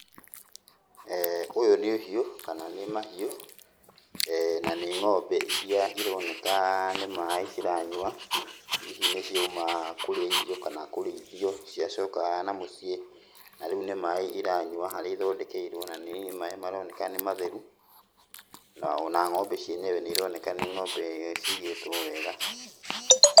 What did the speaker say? Ũyũ nĩ ũhiũ kana nĩ mahiũ, na nĩ ng'ombe iria ironeka nĩ maĩ ciranyua, hihi nĩciauma kũrĩa irio kana kũrĩithio nĩciacoka na mũciĩ, na rĩu nĩ maĩ iranyua harĩa ithondekeirwo, na nĩ maĩ maroneka nĩ matheru, na ona ng'ombe cienyewe nĩironeka nĩ nĩ ng'ombe cigĩtwo wega.